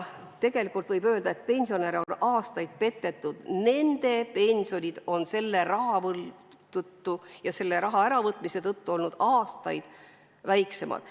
Tegelikult võib öelda, et pensionäre on aastaid petetud, nende pensionid on selle raha äravõtmise tõttu olnud aastaid väiksemad.